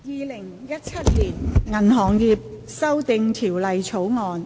《2017年銀行業條例草案》。